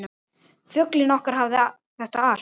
Fuglinn okkar hafði þetta allt.